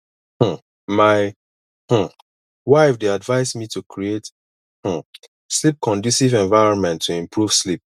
um my um wife dey advise me to create um sleepconducive environment to improve sleep